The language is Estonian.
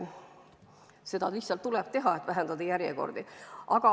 Seda lihtsalt tuleb teha, et vähendada järjekordi.